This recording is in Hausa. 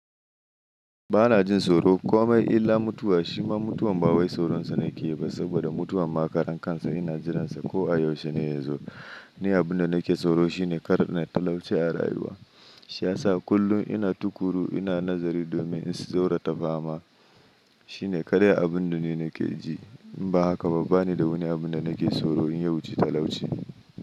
Ba na jin tsoro kome illa mutuwa shima mutuwan ba wai tsoronsa na ke ba saboda mutuwa ma karan kansa ina jiransa ko a yaushe ne ya zo. Ni abun da na ke tsoro shine kar na talauci a rayuwa shiyasa kullum ina tukuru ina nazari domin in zaurata fama. Shi ne kadai abun da ni na ke ji in ba haka ba bani da wani abun da na ke tsoro in ya wuci talauci.